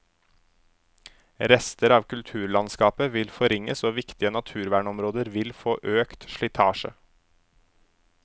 Rester av kulturlandskapet vil forringes og viktige naturvernområder vil få økt slitasje.